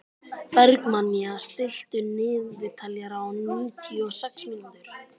Bergmannía, stilltu niðurteljara á níutíu og sex mínútur.